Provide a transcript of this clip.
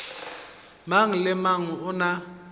mang le mang o na